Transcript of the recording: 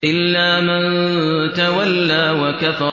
إِلَّا مَن تَوَلَّىٰ وَكَفَرَ